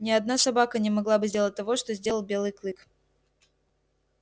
ни одна собака не могла бы сделать того что сделал белый клык